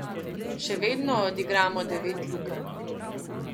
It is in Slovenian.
Še vedno odigramo devet lukenj.